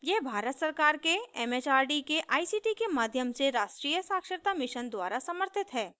यह भारत सरकार के it it आर डी के आई सी टी के माध्यम से राष्ट्रीय साक्षरता mission द्वारा समर्थित है